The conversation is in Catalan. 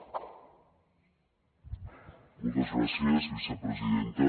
moltes gràcies vicepresidenta